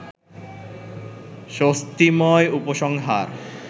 স্বস্তিময় উপসংহার